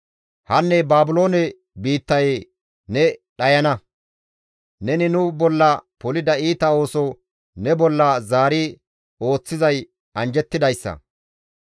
Hanne Baabiloone biittayee ne dhayana! Neni nu bolla polida iita ooso ne bolla zaari ooththizay anjjettidayssa.